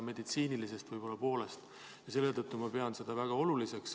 Selle tõttu ma pean seda väga oluliseks.